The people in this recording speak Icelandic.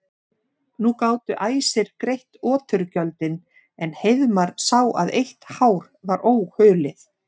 Nú gátu æsir greitt oturgjöldin en Hreiðmar sá að eitt hár var óhulið.